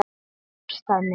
Hjartað mitt,